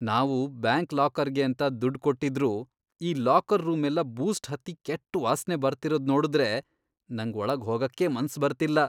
ನಾವು ಬ್ಯಾಂಕ್ ಲಾಕರ್ಗೇಂತ ದುಡ್ಡ್ ಕೊಟ್ಟಿದ್ರೂ ಈ ಲಾಕರ್ ರೂಮೆಲ್ಲ ಬೂಸ್ಟ್ ಹತ್ತಿ ಕೆಟ್ಟ್ ವಾಸ್ನೆ ಬರ್ತಿರೋದ್ನೋಡುದ್ರೆ ನಂಗ್ ಒಳಗ್ ಹೋಗಕ್ಕೇ ಮನ್ಸ್ ಬರ್ತಿಲ್ಲ.